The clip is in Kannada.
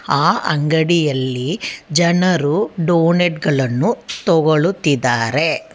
ಆ ಅಂಗಡಿಯಲ್ಲಿ ಜನರು ಡೋನೆಟ್ ಗಳನ್ನು ತೊಗೊಳುತ್ತಿದಾರೆ.